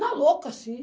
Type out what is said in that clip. Na louca, assim.